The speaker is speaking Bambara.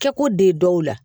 Kɛko d dɔw la